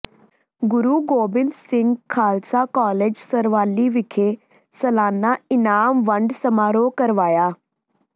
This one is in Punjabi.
ਗੁਰੂ ਗੋਬਿੰਦ ਸਿੰਘ ਖਾਲਸਾ ਕਾਲਜ਼ ਸਰਹਾਲੀ ਵਿਖੇ ਸਲਾਨਾ ਇਨਾਮ ਵੰਡ ਸਮਾਰੋਹ ਕਰਵਾਇਆ